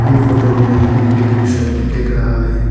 यह फोटो में एक बेकरी शॉप दिख रहा है।